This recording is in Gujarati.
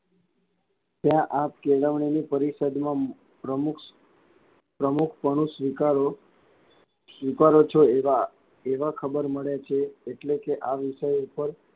ત્યાં આપ કેળવણી ની પરિસદમાં પ્રમુખ પ્રમુખપણું સ્વીકારો સ્વીકારો છો એવાં એવાં ખબર મળે છે એટલે કે આ વિષય પર,